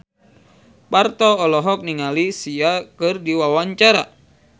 Parto olohok ningali Sia keur diwawancara